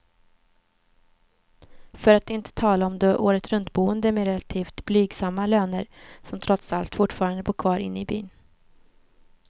För att inte tala om de åretruntboende med relativt blygsamma löner, som trots allt fortfarande bor kvar inne i byn.